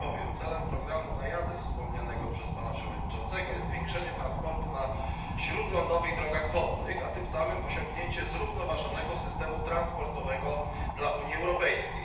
Celem programu NAIADES wspomnianego przez Pana Przewodniczącego jest zwiększenie transportu na śródlądowych drogach wodnych, a tym samym osiągnięcie zrównoważonego systemu transportowego dla Unii Europejskiej.